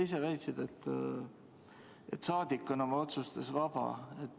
Sa väitsid, et saadik on oma otsustes vaba.